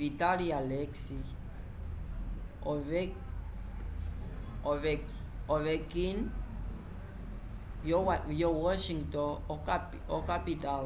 vyetali alex ovechkin vyo washington okapital